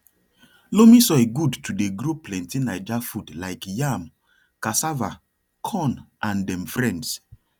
loamy soil good to dey grow plenty nija food like yam cassava corn and dem friends